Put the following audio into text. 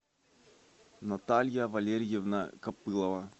наталья валерьевна копылова